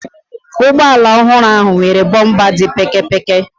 Ụgbọala ọhụrụ ahụ nwere bọmpa dị pékėpékė.